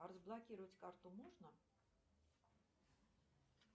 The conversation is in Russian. а разблокировать карту можно